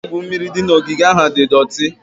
Ebe igwu mmiri dị n'ogige ahụ di doti.